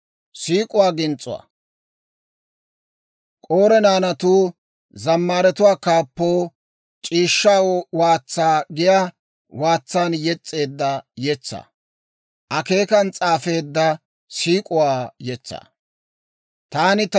Taani ta yetsaa kaatiyaa sisana, ta wozanay lo"o k'ofaa pulttee; ta ins's'arssay lo"o s'aafiyaa asaa bi'iriyaa mala.